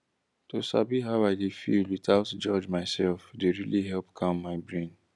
to sabi how i dey feel without judge myself dey really help calm my brain